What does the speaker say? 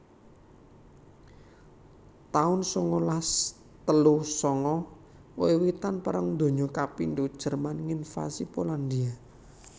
taun sangalas telu sanga Wiwitan Perang Donya kapindho Jerman nginvasi Polandhia